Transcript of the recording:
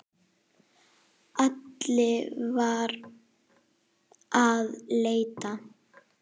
Alli var að leita.